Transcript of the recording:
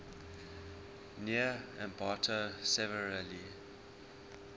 near ambato severely